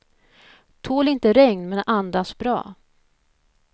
Tål inte regn, men andas bra.